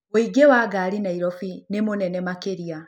ũingĩ wa ngari nairobi nĩmũnene makĩria